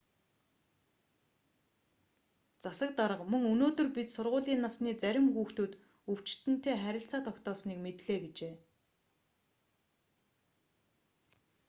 засаг дарга мөн өнөөдөр бид сургуулийн насны зарим хүүхдүүд өвчтөнтэй харилцаа тогтоосныг мэдлээ гэжээ